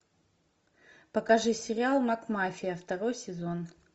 покажи сериал макмафия второй сезон